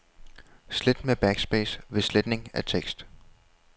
Slet med backspace ved sletning af tekst.